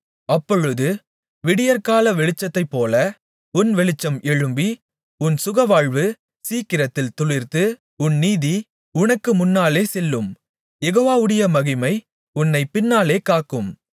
அப்பொழுது விடியற்கால வெளிச்சத்தைப்போல உன் வெளிச்சம் எழும்பி உன் சுகவாழ்வு சீக்கிரத்தில் துளிர்த்து உன் நீதி உனக்கு முன்னாலே செல்லும் யெகோவாவுடைய மகிமை உன்னைப் பின்னாலே காக்கும்